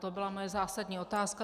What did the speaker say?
To byla moje zásadní otázka.